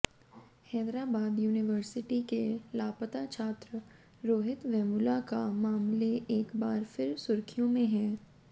Hyderabad university के लापता छात्र रोहित वेमुला का मामले एक बार फिर सुर्खियों में है